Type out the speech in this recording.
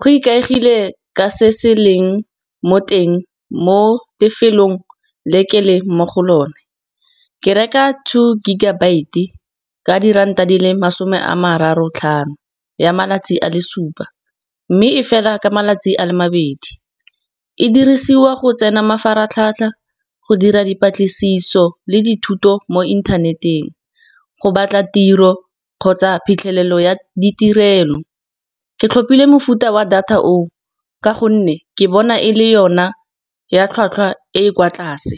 go ikaegile ka se se leng mo teng mo lefelong le ke le mo go lone. Ke reka two gigabyte, ka diranta di le masome a mararo botlhano ya malatsi a le supa. Mme e fela ka malatsi a le mabedi, e dirisiwa go tsena mafaratlhatlha, go dira dipatlisiso le dithuto mo internet-eng, go batla tiro kgotsa phitlhelelo ya ditirelo. Ke tlhopile mofuta wa data o o, ka gonne ke bona e le yona ya tlhwatlhwa e kwa tlase.